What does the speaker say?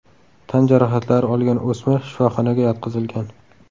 Tan jarohatlari olgan o‘smir shifoxonaga yotqizilgan.